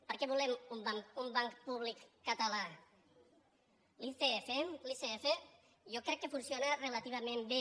per què volem un banc públic català l’icf jo crec que funciona relativament bé